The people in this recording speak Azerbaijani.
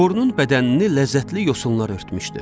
Borunun bədənini ləzzətli yosunlar örtmüşdü.